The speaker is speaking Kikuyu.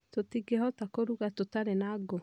Tũtingĩhota kũruga tũtarĩ na ngũ